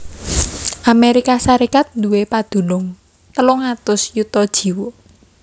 Amérika Sarékat nduwé padunung telung atus yuta jiwa